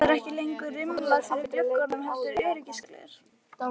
Það eru ekki lengur rimlar fyrir gluggunum heldur öryggisgler.